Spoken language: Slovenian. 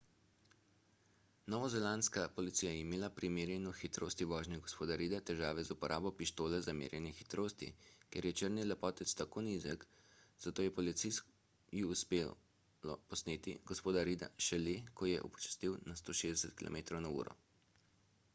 novozelandska policija je imela pri merjenju hitrosti vožnje g. reida težave z uporabo pištole za merjenje hitrosti ker je črni lepotec tako nizek zato je policiji uspelo posneti g. reida šele ko je upočasnil na 160 km/h